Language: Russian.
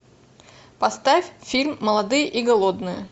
поставь фильм молодые и голодные